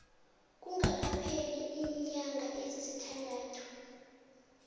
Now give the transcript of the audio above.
kungakapheli iinyanga ezisithandathu